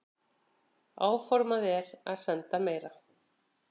Áformað er að senda meira.